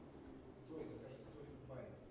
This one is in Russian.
джой закажи столик в баре